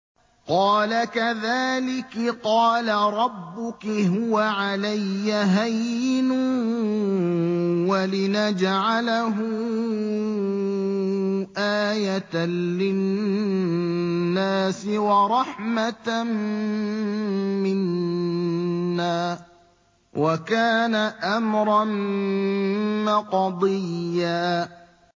قَالَ كَذَٰلِكِ قَالَ رَبُّكِ هُوَ عَلَيَّ هَيِّنٌ ۖ وَلِنَجْعَلَهُ آيَةً لِّلنَّاسِ وَرَحْمَةً مِّنَّا ۚ وَكَانَ أَمْرًا مَّقْضِيًّا